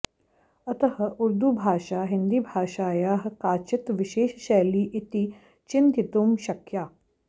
अतः उर्दुभाषा हिन्दीभाषायाः काचित् विशेषशैली इति चिन्तयितुं शक्या